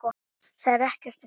Það er ekkert að gerast.